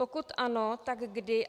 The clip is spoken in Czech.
Pokud ano, tak kdy?